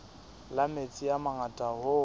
la metsi a mangata hoo